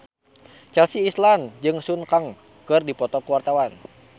Chelsea Islan jeung Sun Kang keur dipoto ku wartawan